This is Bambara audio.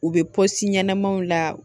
U bɛ pɔsi ɲɛnamaw la